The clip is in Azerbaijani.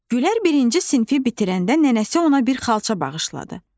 Gülər birinci sinfi bitirəndə nənəsi ona bir xalça bağışladı.